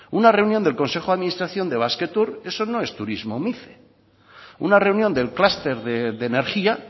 una reunión del consejo de administración de basquetour eso no turismo mice una reunión del clúster de energía